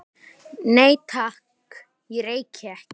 Nei, takk, ég reyki ekki